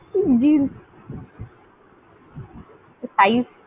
কি jeans? হ্যাঁ, আমাকে একটা